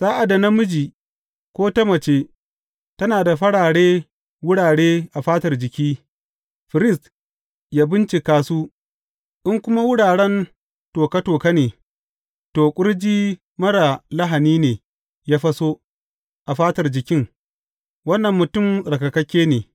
Sa’ad da namiji ko ta mace tana da farare wurare a fatar jiki, firist ya bincika su, in kuma wuraren toka toka ne, to, ƙurji marar lahani ne ya faso a fatar jikin; wannan mutum tsarkakakke.